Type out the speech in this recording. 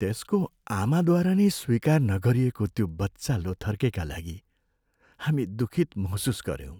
त्यसको आमाद्वारा नै स्वीकार नगरिएको त्यो बच्चा लोथर्केका लागि हामी दुखित महसुस गऱ्यौँ।